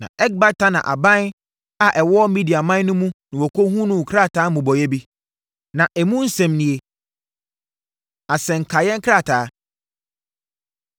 Na Ekbatana aban a ɛwɔ Mediaman no mu na wɔhunuu krataa mmobɔeɛ bi. Na emu nsɛm nie: Asɛnkaeɛ krataa: